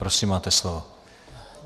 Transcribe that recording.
Prosím, máte slovo.